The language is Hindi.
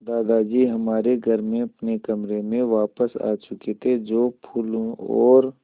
दादाजी हमारे घर में अपने कमरे में वापस आ चुके थे जो फूलों और